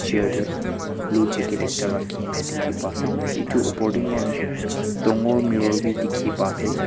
chair te blue jacket ekta rakhine dikhi pa ase etu oper te moi khan dagor mirror bi dikhi pa ase.